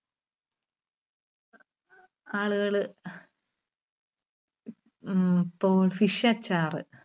ആളുകള് ഉം ഇപ്പോ fish അച്ചാർ